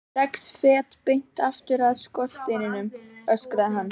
Sex fet beint aftur af skorsteininum, öskraði hann.